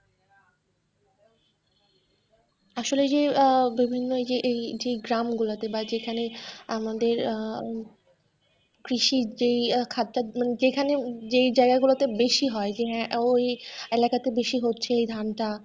আসলে যে আহ বিভিন্ন এই যে গ্রামগুলোতে বা যেইখানে আমাদের আহ কৃষি যে এই খাদ্য মানে যেইখানে যেই জায়গা গুলোতে বেশি হয় যে হ্যাঁ ওই এলাকাতে বেশি হচ্ছে এই ধানটা।